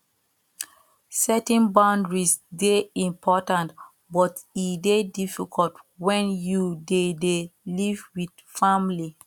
setting boundaries dey important but e dey difficult when you dey dey live with family